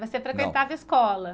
você frequentava escola.